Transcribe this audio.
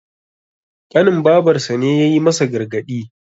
ƙanin babarsa ne ya yi masa gargadi